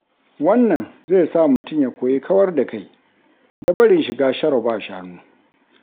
Wannan zai sa mutum ya koyi kawar da kai da barin shiga sharo-ba-shanu.